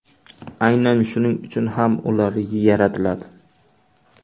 Aynan shuning uchun ham ular yaratiladi.